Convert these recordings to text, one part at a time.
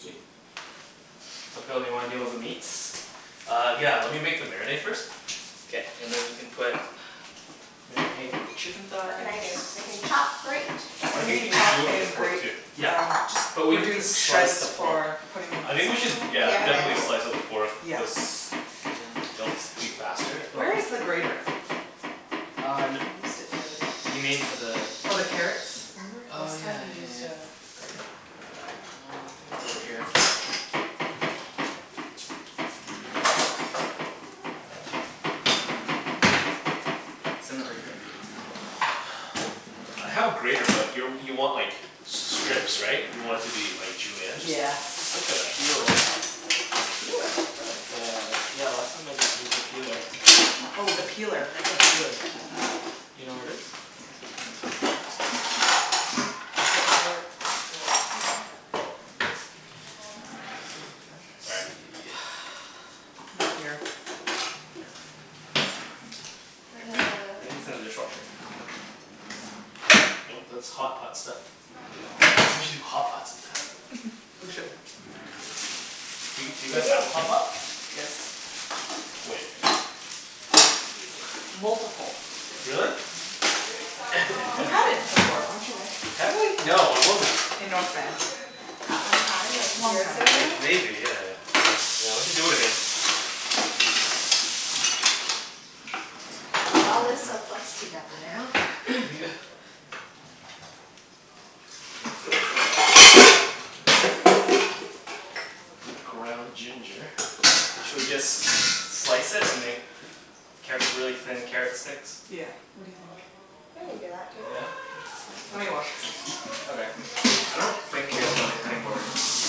Sweet. So Phil do you wanna to deal with the meats? Uh, yeah. Lemme make the marinade first. K. And then we can put marinade with the chicken What can I thighs. do, I can chop, grate. I think we Maybe need chop do like a and pork grate too. Yeah. um just But we are maybe we can doing slice shreds the pork for putting in I the think we salad should bowl. yeah, definitely slice the pork Yes. cuz Hm That's faster. Where is the grater? Um, you mean for the For the carrots? Oh yeah yeah yeah yeah yeah. Um I think it's over here Isn't it right here? I have a grater but you you want like strips right? You want it to be like julienne? Just, Yeah. just like a peeler. A peeler? Cool. Uh, yeah. Often I just used a peeler. Oh the peeler, right. Do you know where it is? Excuse me Phil. Let's Sorry. see. Not here. Maybe it's in the dishwater. No, that's hotpots stuff. We should do hotpot some time. We should. We did. a hotpot? Yes. Multiple. Really? Mhm. We had it before, weren't you there? Have we? No, I wasn't. In North Van. That one time, like Long years time ago. ago? Maybe, yeah. Yeah we should do it again. We all live so close together now. Yeah. What does it look like? What is this? Ground ginger. Should we just slice it and make carrot really thin carrot sticks? Yeah, what do you think? We can do that, too. Yeah? Lemme Okay. wash it first. Oh there. I don't think we have another cutting board.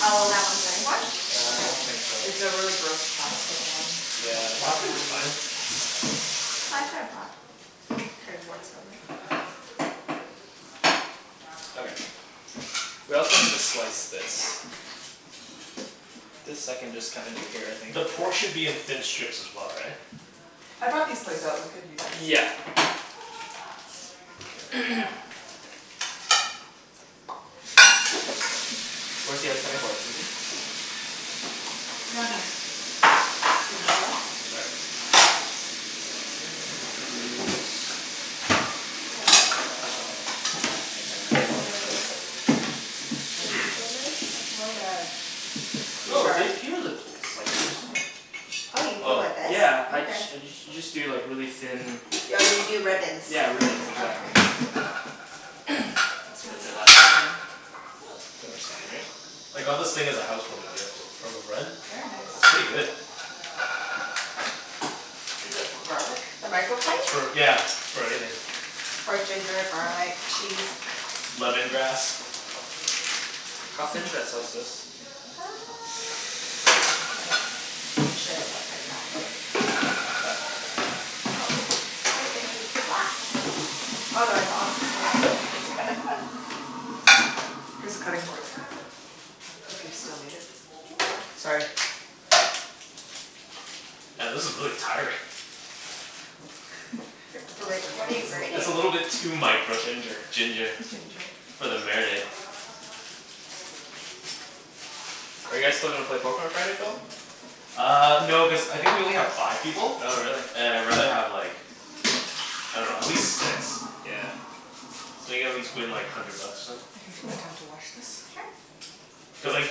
one cutting board? Yeah I don't think so. It's a really gross plastic one. Okay. Yeah. We don't think you Plastic wanna is use fine. it. I could've brought cutting boards over. Okay. We also need to slice this. Yeah. This I can just kinda do it here I think. The pork should be in thin strips as well, right? I bought these plates so we could use this. Yeah. Where's the other cutting board, Susie? Excuse me Phil Sorry. uh, it's more of like Oh! There Here's the slicers, hm. Oh you peel Oh. with this? Yeah I just you just do like really thin. Yeah you do ribbons. Yeah, ribbons exactly. That's what I That's did the last proper time. term. Oh, it's fine, right? I got this thing as a house warming gift from a friend. Very nice It's pretty good. Is that for garlic? The It's microplate? for yeah, for everything. For ginger, garlic, cheese. Lemongrass. How thin should I slice this? Uh, like we should like that, Okay. right? Like that? Oh. Here's the cutting board, if you still need it. Sorry. Yeah this is really tiring. We could switch what are you It's over. a grating? little bit too micro Ginger. ginger. Ginger For the marinade. Are you guys still gonna play Poker on Friday, Phil? Uh, no cuz I think we only have five people. Oh really. And I rather have like, I dunno, at least six. Yeah. So play like hundred bucks or something. We can to wash this? Sure. Cuz like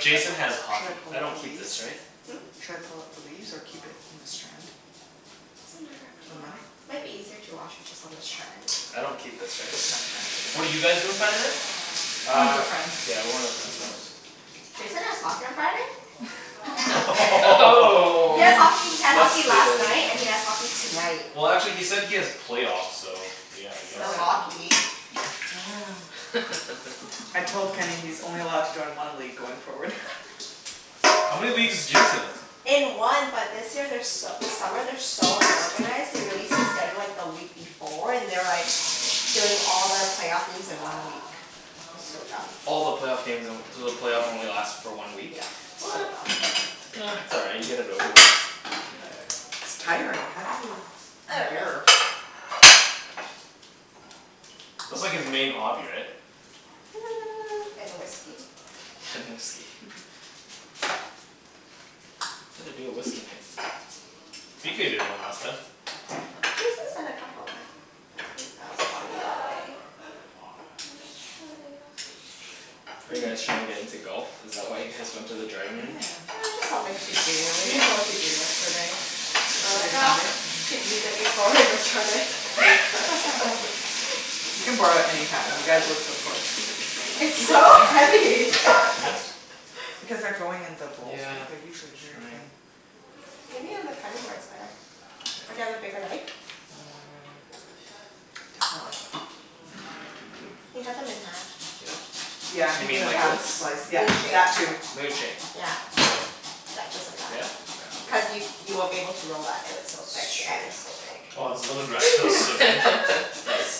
Jason has Should I hockey. pull I out the don't keep leaves? this right? Hm? Should I pull out the leaves or keep it in a strand? Doesn't matter. Up to Doesn't matter? you. Might be easier to wash it just on the strand. I don't keep this right? What did you guys do on Saturday? Went to Uh, a friends. yeah we were at friends house. Jason has hockey on Friday? Oh! He has hockey, he had hockey Busted. last night and he Oh! has hockey tonight. Well actually he said he has playoffs so, yeah I guess Still Alright. so. Um. hockey. Mm. I told Kenny he's only allowed to join one league going forward. How many leagues is Jason in? In one but this year they're so this summer they are so unorganized, they released the schedule like the week before, and they're like doing all the playoff games in one week. It's so dumb All the playoff games in one so the playoff only last for one week? Yeah, so dumb. Um it's alright, you get it over with. It's tiring, how do you I dunno. endure. That's like his main hobby right? Hmm and whiskey. And whiskey. We do a whiskey night. Jason's. Are you guys trying to get into golf? Is that why you guys went to the driving range? Yeah, Yeah. it's just something to do, we didn't know what to do yesterday. Well I Yesterday was thought Sunday? we should use it before we return it. You can borrow it anytime. You guys live so close. It's so Like heavy! this? Because they're growing in the bowls, Yeah. they're usually That's very thin. right. Maybe on the cutting board it's better. Or do you have a bigger knife? Mmm You can cut them in half. Yeah? Yeah You mean the like half this? slice yeah, Moon shape. that too. Moon shape. Yeah. Yeah just like Yeah? that. Okay. I'll do Cuz you that. you won't be able to roll that if it's so That's thick yeah it's so true. thick. Wow I was a little. Nice.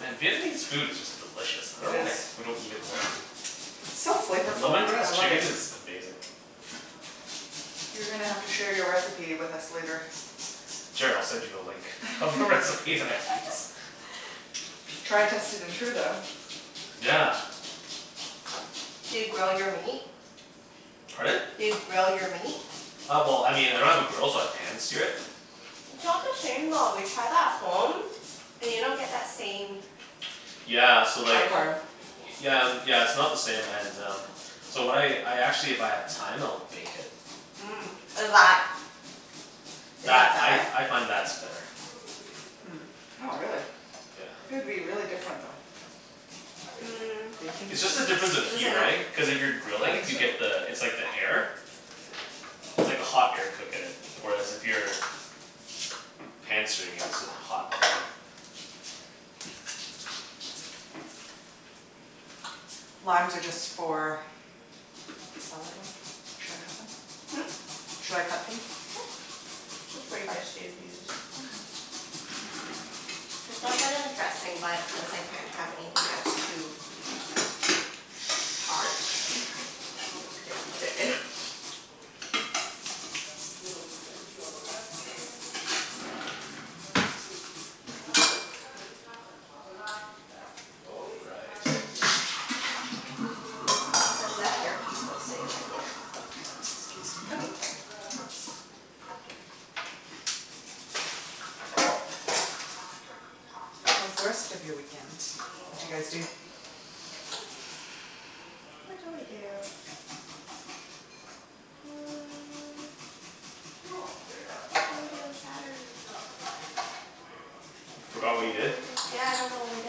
And Vietnamese food is just delicious. I It dunno is. why we don't eat it more often. It's so flavorful, I Lemongrass love it. chicken is amazing. You're gonna have to share your recipe with us later. Sure, I'll send you the link. Try test it. Yeah. Do you grill your meat? Pardon? Do you grill your meat? Uh well I mean I don't have a grill but pan-sear it. It's not the same though, we tried that at home, and you don't get that same Yeah The so like charcoal? flavor Yeah, yeah it's not the same and um, so when I I actually if I have time I'll bake it. Mhm, is that is That, that I better? I find that's better. Hmm. Oh really? Yeah. Would be really different though. Mm. It's just the Is difference of this heat enough? right? Cuz if you're I grilling think you so. get the it's like the air. It's like hot air cookin it. Where as if you're pan-searing it, it's a hot pan. Limes are just for the salad bowl? Should I cut them? Hm? Should I cut these? Sure. Mhm. Cuz that kinda dressing but since I can't have anything that's too. put it in. All right. The left earpiece won't stay in my ear. Excuse me. Okay. How's the rest of your weekend? What d'you guys do? What did we do? Hmm. What did we do on Saturday? Forgot what you did? Yeah I don't remember what I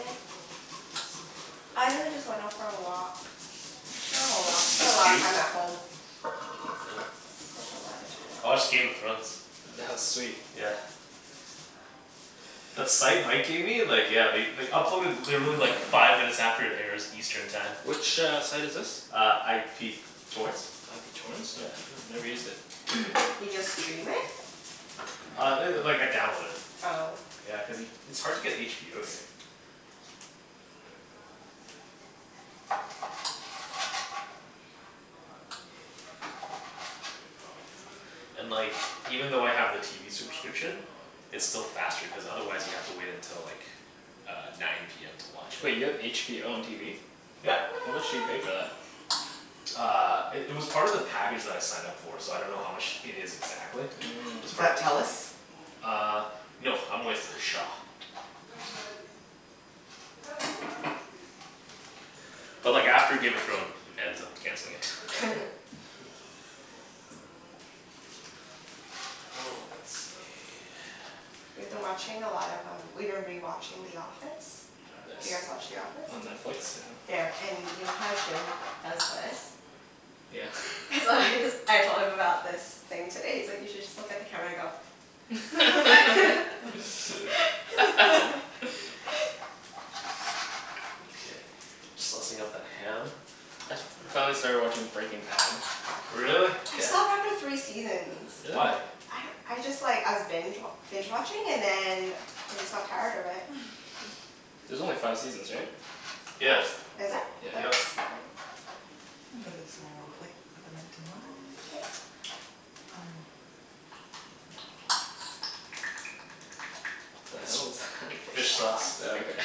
did. I really just went out for a walk, spent a lot spent a lot of time at home. time I watched Game of at Thrones. home. That was sweet. Yeah. That site Mike gave me like yeah they they upload in literally like five minutes after it airs Eastern time. Which, uh, site is this? Uh, IP torrents. IP torrents? No, Yeah. no, never used it. You just stream it? Uh, it like I download it. Oh. Yeah, cuz it's hard to get HBO here. And like even though I have the TV subscription, it's still faster cuz otherwise you have to wait until like uh nine PM to watch Wait it. you have HBO on TV? Yeah. How much do you pay for that? Uh, it it was part of the package that I signed up for so I dunno how much it is exactly. It's Is Mmm. part of that the plan. Telus? Uh, no I'm with Shaw. But like after Game of Thrones ends, I'm canceling it. Oh, let's see We've been watching a lot of um, we've been rewatching The Office. Do you guys Nice. watch The Office? On Netflix? Yeah. Yeah, and you know how Jimmy g- does this? Yeah? So I just, I told him about this thing today, he's like, "You should just look at the camera and go" Okay. Saucing up the ham I finally started watching Breaking Bad Really? I Yeah. stopped after three seasons. Why? Really? I don't, I just like, I was binge wa- binge watching, and then I just got tired of it. There's only five seasons, right? Oops! Yeah. Is it? I thought it was Yep. seven. I'll put this all in one plate, with the mint and lime. Um. The It's hell is that f- fish sauce. Oh, okay.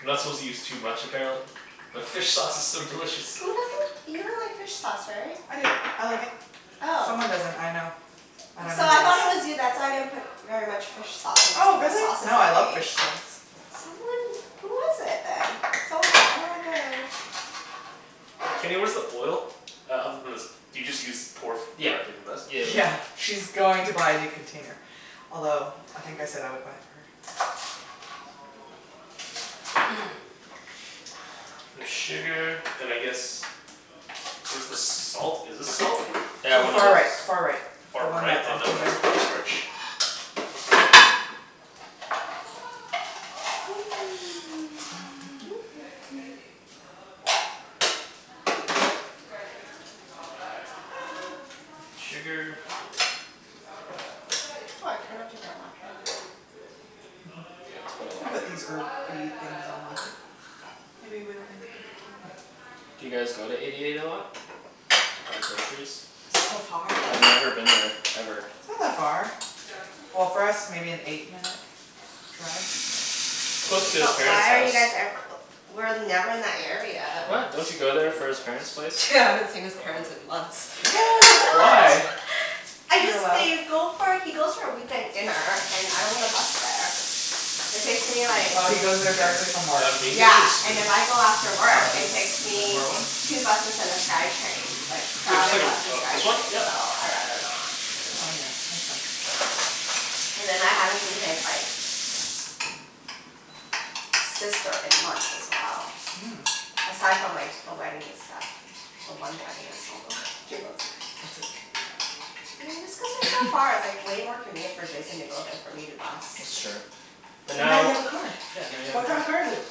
You're not supposed to use too much, apparently. But fish sauce is so delicious. Who doesn't, you don't like fish sauce, right? I do, I like it. Oh. Someone doesn't, I know. I dunno So I who it is. thought it was you. That's why I didn't put very much fish sauce in Oh the really? sauces No I I love made. fish sauce. Someone, who was it then? Someone was like, I don't like it. Kenny, where's the oil? Do you just use pour f- Yeah directly from this? yeah yeah. Yeah, she's going to buy a new container, although I think I said I would buy it for her. Bit of sugar, and I guess, where's the salt, is this salt? Yeah, one of Far those right far right, the Far one right? that's Oh on no, that's corn starch. Need sugar. Why I cannot take that Mhm. Yeah, it's quite a We can lot put these herby things on one plate. Maybe we don't need to put the turnip. Do you guys go to Eighty eight a lot? To buy groceries? So far. I've never been there, ever. It's not that far. Well, for us maybe an eight minute drive. It's close to his But parents' why are house. you guys ever- w- we're never in that area. What? Don't you go there for his parents' place? Yeah, I haven't seen his parents in months. Why? What? I You're just allowed didn't go for, he goes for a weeknight dinner, and I don't wanna bus there. It takes me like Oh he goes there directly from work. Uh, can you give me a Yeah, and spoon? if I go after Uh, work it's it takes that me far one two buses and the Skytrain, like No, just like crowded a, bus and uh this one? Skytrain, Yep. so I rather not. Oh yeah, makes sense. And then I haven't seen his like, sister in months as well Mm. Aside from like the wedding and stuff. The one wedding I saw them, a few months ago. I see. Yeah, it's cuz they're so far. It's like way more convenient for Jason to go than for me to bus. That's true. But But now you now have a car! Yeah, now you have a What kind car. of car is it?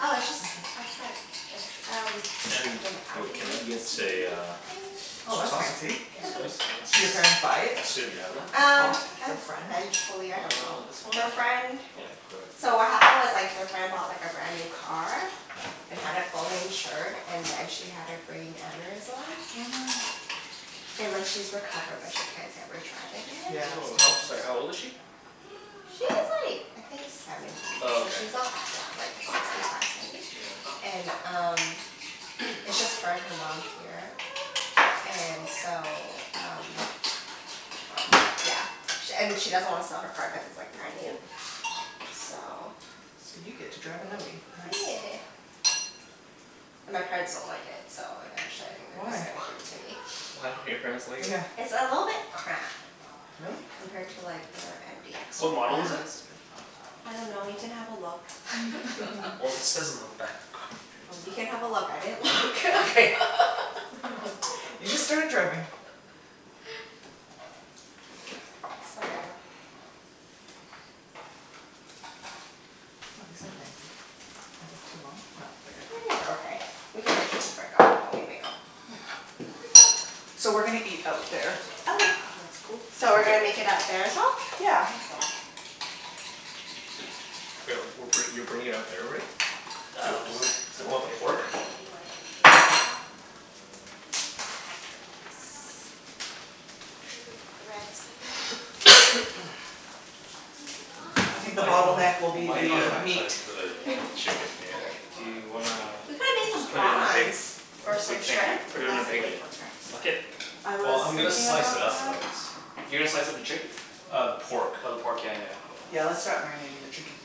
Oh, it's just our friend, it's um Ken, like an you- can I Audi get a SUV, uh I Oh soy that's sauce? think? fancy. Soy Did sauce? your parents buy it, I assume you have that? Um, off the friend? eventually, I Uh, dunno. this Their one? friend, Okay, so what perfect. happened was like their friend bought like a brand new car, and had it fully insured and then she had a brain aneurysm. Oh no. And like she's recovered but she can't ever drive again. Yeah that's Oh how, sorry, how old is she? She's like, I think seventy. Oh So okay. she's not that young, like sixty five, seventy? Yeah. And um, it's just her and her mom here, and so um yeah. She and she doesn't want to sell her car cuz it's like brand new. So. So you get to drive an Audi, nice. Yeah. And my parents don't like it so eventually I think they're Why? just gonna give it to me. Why don't your parents like it? Yeah. It's a little bit cramped. Really? Compared to like their MDX Yeah What right model is MDX it? now. is big. I dunno you can have a look Well, it says on the back of car. Well, you can have a look I didn't look Okay. You just started driving. So yeah. Ah these are fancy. Are these too long? Nope, I they're good. think they're okay. We can always just break up the bone when we make'em. Yeah. So we're gonna eat out there Okay. If that's cool? So we're gonna make it out there as well? Yeah, I think so. Wait, w- we're, you're bringing it out there already? Yo, Yeah, we'll do we just want, do we set the want the table, pork? whatever. Should we wipe the table a bit? Uh Yes. Random threads on there. I think the Might not, bottleneck will be Do you might need not the a have time meat. for the chicken, yeah. Do you wanna We could've made some just put it in a big, prawns or some big thing, right? shrimp, Put and it in a that's like big way quicker. bucket? I was Well, I'm gonna thinking slice it about up that. though. You're gonna slice up the chicken? Uh the pork. Oh the pork, yeah Yeah, yeah let's yeah. start marinating the chicken.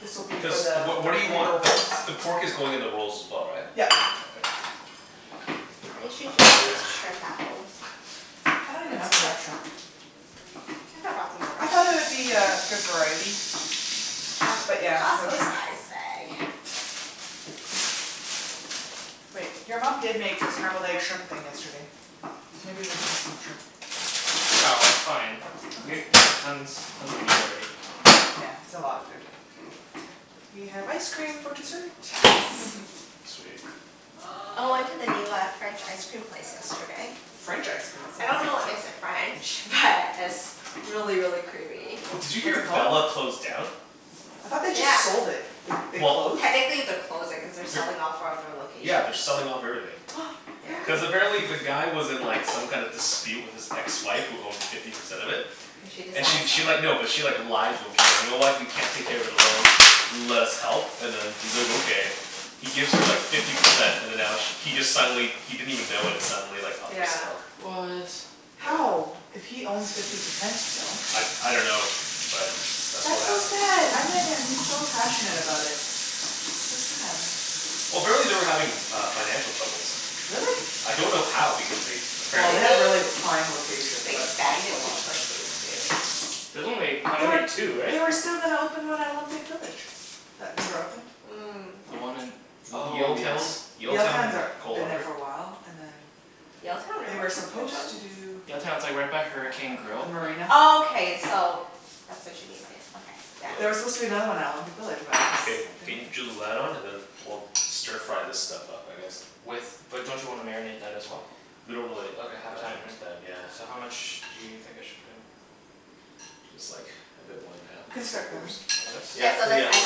This will be Cuz for the what, what do you want, paper the rolls. the pork is going in the rolls as well right? Yup. Okay. I usually just use shrimp at home. I don't even know if they have shrimp. I could've brought some over. I thought there would be a good variety. But yeah, no Costco shrimp. size bag. Wait, your mom did make a scrambled egg shrimp thing yesterday. Maybe we did have some shrimp. No, it's fine. We Okay. have, we got tons, tons of meat already. Yeah it's a lot of food. We have ice cream for dessert. Sweet. I went to the new uh, French ice cream place yesterday. French icecream, what's I that? dunno what makes it French, but it's really really creamy. Did you What's hear it called? Bella closed down? I thought they just Yeah. sold it. They they Well. closed? Technically they're closing cuz they're selling off four of their Yeah, they're locations. selling off everything. Yeah. No Cuz way. apparently the guy was in like some kind of dispute with his ex-wife who owned fifty percent of it. And she And she decides to she sell like, it? no, but she like, lied to him. She's like, "You know what, you can't take care of the it alone, let us help" and then he's like, "Okay." He gives her like fifty percent and then now sh- he just suddenly he didn't even know when it's suddenly like up for Yeah. sale. What? How! If he owns fifty percent still. I, I dunno, but that's what That's so happened. sad! I met him he's so passionate about it. That's sad. Well, apparently they were having uh financial troubles. Really? I don't know how because they Well they apparently Maybe have really prime locations they so it's cost a expanded too lot. quickly, too. There's only, how They were many, two, right? they were still gonna open one at Olympic village that never opened. Mm. The one in, oh yes Yaletown, Yaletown, Yaletown, they're, coal been there harbour. for a while and then Yaletown, They really? were supposed to do Yaletown, it's like right by Hurricane The Grill marina. Oh, okay so that's what she mean by it, okay, There were supposed to be yeah. another one out in Olympic Village but Ken, it can you drew the light on and then was we'll stir fry this stuff up I guess. With, but don't you wanna marinate that as well? We don't really Ok, have have that time right? much time yeah. So how much do you think I should put in? Just like a bit more than half, We can like three start grilling. quarters. Like Yeah, Yeah, so this this? ice let's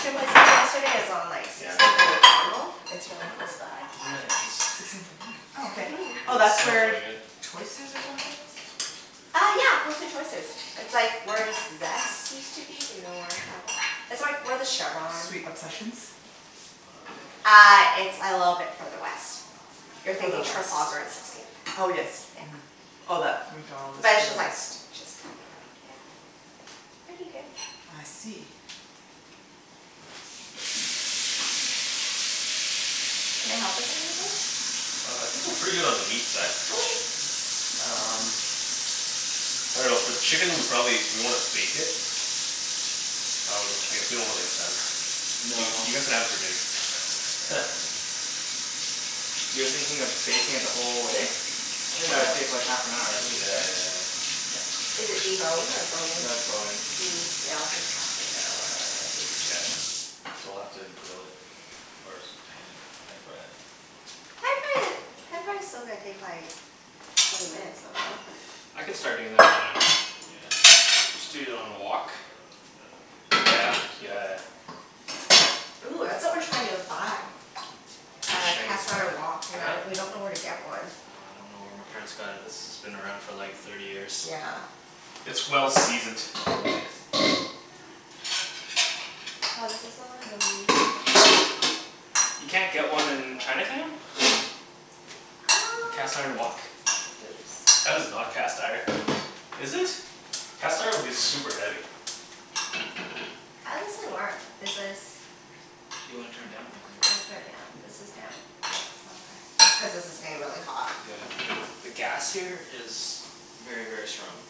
cream keep place we it. went to yesterday is on like Yeah. sixteenth and Macdonald. It's really close by. Sixteenth avenue, oh okay. Oh It that's Mhm. smells where really good. Choices or something was? Uh yeah! Close to Choices. It's like where Zest used to be, you know where that is? It's where where the Chevron Sweet Obsessions? Uh, it's a little bit further west. You're Further thinking west. Trafalgar and sixteenth. Oh yes, mhm. Yeah. Oh that But to it's the just like, west. just. It's pretty good. I see. Can I help with anything? Uh, I think we're pretty good on the meat side. Okay! Um, I dunno for the chicken we probably, do we wanna bake it? I w- I guess we don't really have time. You No. guys can have it for dinner. You're thinking of baking it the whole way? I think that would take like half an hour at Yeah, least, right? yeah, yeah. Is it deboned or bone-in? No, it's bone-in. Hm, yeah, it'll take half an hour, I think. Yeah. So we'll have to grill it first. Pan pan-fry it. pan-frying it, pan-frying it's still gonna take like twenty minutes, I dunno. I can start doing that right now. Yeah. Just do it on a wok. Yeah, yeah, yeah. Ooh, that's what we were trying to buy. Uh cast Chinese iron Oh wok? wok. We're not, we dunno where to really? get one. Well, I dunno where my parents got it. This has been around for like thirty years. Yeah. It's well-seasoned. Ah, this is so yummy. You can't get one in Chinatown? Uh. A cast iron wok? That is not cast iron. Is it? Cast iron would be super heavy. How's this thing work? Is this Do you wanna turn it down? How Yeah, do I turn there it down? you go. This is Yeah down? Oh okay. It's cuz this is getting really hot. Yeah. The gas here is very very strong.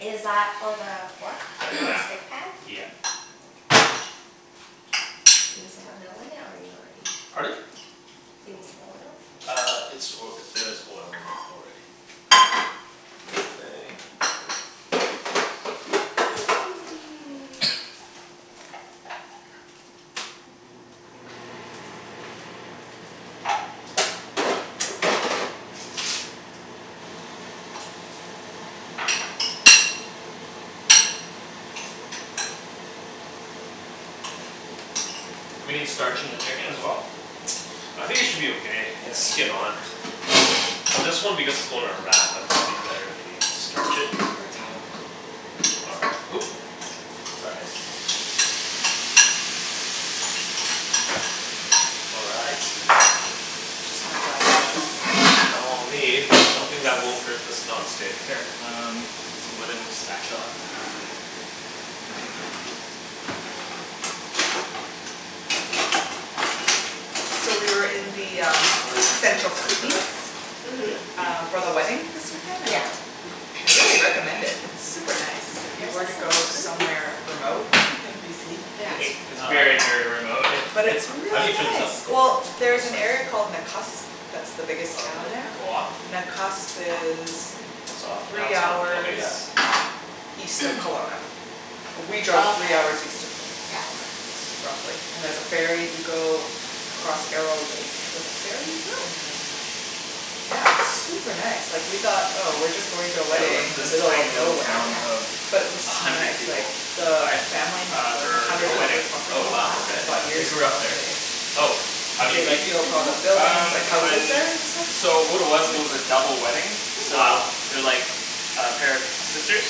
Is that for the pork, the non-stick pan? Yeah. Yep Do you need some oil in it or you already Pardon? Do you need some oil? Uh, it's oil, there is oil in it already. Do we need starch in the chicken as well? I think it should be okay, it's skin-on. Well, this one because it's going in a wrap I thought it would be better if we starch it? Paper towel. All right, oop! All right, Just gonna dry the lettuce in. now I'll need Oops. something that won't hurt this non-stick. Here, um, it's a wooden spatula So we were in the um central Kootenays Mhm. Um for the wedding this weekend Yeah. and I really recommend it, it's super nice, if you Where's were to go that Kootenays? somewhere remote in BC. It's very, very remote. Hey, But Ken? it's How do really you turn this nice! up? Well, there's an area called Nakusp, that's the biggest Oh did town it there. go off? Nakusp is It's off, now three it's on. Ok hours yeah. east of Kelowna. We Oh drove three okay. hours east of Kel- Yeah. Kelowna Roughly. And there's a ferry you go across Arrow Lake with the ferry Oh! and then. Yeah, it's super nice. Like we thought oh we're just going to a Yeah, we went wedding to in the this middle of tiny little nowhere. town of But it Yeah. was a so hundred nice, like people. the Why? family has Uh, like a for hundred a wedding. acre Oh property wow, okay. They bought They years grew ago up there. and they, Oh, how do you they meet like these built all the people? buildings, Um, like houses on, there and stuff, so what it was, it really was a cool. double wedding, Cool. so Wow. They're like a pair of sisters